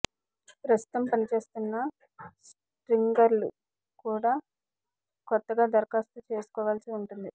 ప్రస్తుతం పని చేస్తున్న స్ట్రింగర్లు కూడా కొత్తగా దరఖాస్తు చేసుకోవాల్సి ఉంటుంది